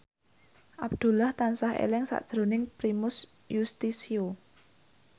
Abdullah tansah eling sakjroning Primus Yustisio